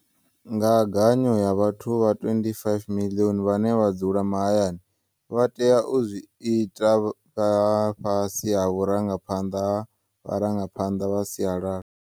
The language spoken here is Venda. Ngaganyo ya vhathu vha 25 miḽioni vhane vha dzula ma hayani vha tea u zwi ita vhe fhasi ha vhurangaphanḓa ha vharangaphanḓa vha sialala.